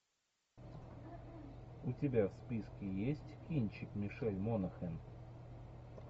у тебя в списке есть кинчик мишель монахэн